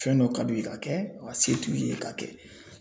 Fɛn dɔ ka d'u ye k'a kɛ wa se t'u ye k'a kɛ.